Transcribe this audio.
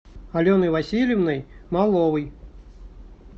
аленой васильевной маловой